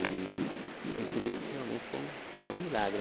E a gente vê que realmente é um é um milagre.